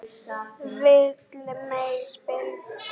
Villimey, spilaðu lag.